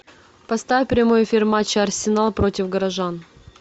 поставь прямой эфир матча арсенал против горожан